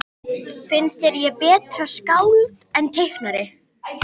Finnst þér ég betra skáld en teiknari?